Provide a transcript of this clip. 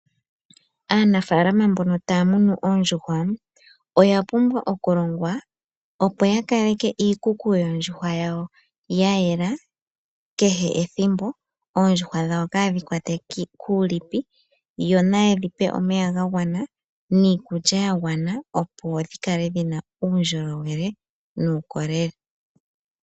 Aanafaalama mbono taya munu oondjuhwa oya pumbwa okulongwa, opo ya kaleke iikuku yoondjuhwa yawo yayela kehe ethimbo oondjuhwa dhawo kaadhi kwatwe kuulipi yo naye dhipe omeya ga gwana niikulya ya gwana, opo dhi kale dhi na uundjolowele nuukolele.